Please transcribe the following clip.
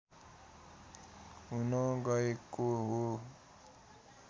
हुन गएको हो